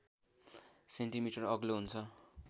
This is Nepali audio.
सेन्टिमिटर अग्लो हुन्छ